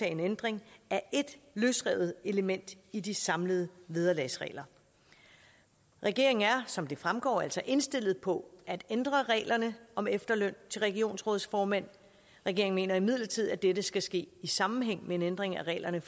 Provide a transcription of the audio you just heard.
en ændring af ét løsrevet element i de samlede vederlagsregler regeringen er som det fremgår altså indstillet på at ændre reglerne om efterløn til regionsrådsformænd regeringen mener imidlertid at dette skal ske i sammenhæng med en ændring af reglerne